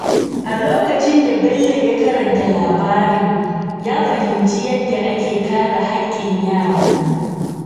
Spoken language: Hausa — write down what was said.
A lokacin da Bello ya karanta labarin, ya fahimci yadda ake kare haƙƙin yara.